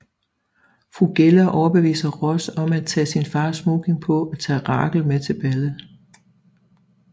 Fru Geller overbeviser Ross om at tage sin fars smoking på og tage Rachel med til ballet